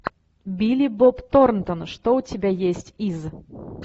билли боб торнтон что у тебя есть из